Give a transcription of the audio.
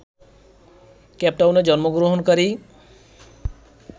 কেপটাউনে জন্মগ্রহণকারী